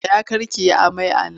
Tsaya kar ki yi amai a nan!